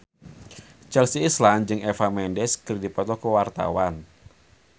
Chelsea Islan jeung Eva Mendes keur dipoto ku wartawan